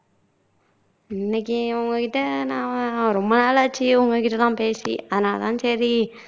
இன்னைக்கு உங்ககிட்ட நான் ரொம்ப நாள் ஆச்சு உங்ககிட்ட எல்லாம் பேசி அதனால தான் சரி